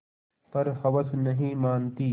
पर हवस नहीं मानती